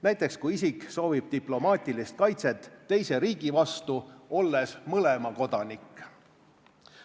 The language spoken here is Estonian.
Näiteks kui isik soovib diplomaatilist kaitset teise riigi vastu, olles mõlema kodanik.